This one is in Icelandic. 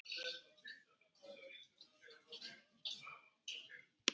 Við skyldum aldrei vanmeta það.